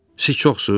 Siz çoxsuz?